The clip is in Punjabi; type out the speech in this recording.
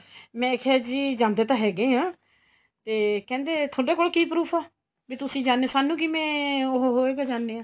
ਮੈਂ ਕਿਹਾ ਜੀ ਜਾਂਦੇ ਤਾਂ ਹੈਗੇ ਆ ਤੇ ਕਹਿੰਦੇ ਤੁਹਾਡੇ ਕੋਲ ਕੀ proof ਏ ਬੀ ਤੁਸੀਂ ਜਾਨੇ ਓ ਸਾਨੂੰ ਕਿਵੇ ਉਹ ਹੋਏਗਾ ਜਾਨੇ ਆ